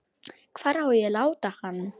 Hvar á að láta hann?